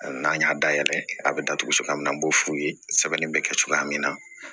N'an y'a dayɛlɛ a bɛ datugu cogoya min na n b'o f'u ye sɛbɛnni bɛ kɛ cogoya min na